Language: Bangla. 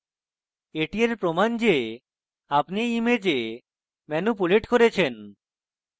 এটি এর প্রমান they আপনি এই image ম্যানুপুলেট করেছেন